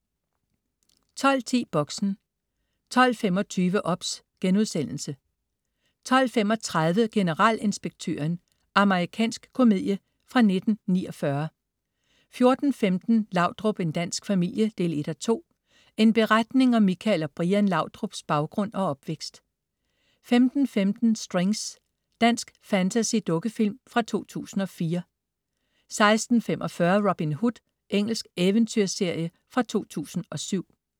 12.10 Boxen 12.25 OBS* 12.30 Generalinspektøren. Amerikansk komedie fra 1949 14.15 Laudrup, en dansk familie 1:2. En beretning om Michael og Brian Laudrups baggrund og opvækst 15.15 Strings. Dansk fantasy-dukkefilm fra 2004 16.45 Robin Hood. Engelsk eventyrserie fra 2007